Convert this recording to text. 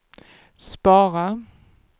spara